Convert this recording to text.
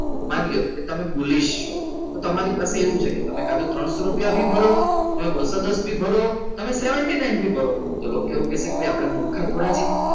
માલ્યો કે તમે બોલી શકો તો તમારી પાસે એવું છે કે તમારે કાં તો ત્રણસો રૂપિયા ઉપર તમે બસોદસ કરો અને seventy nine થી ભરો તો લોકો એવું કહે છે કે આપણે મૂર્ખા થોડા છીએ